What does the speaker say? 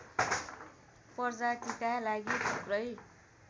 प्रजातिका लागि थुप्रै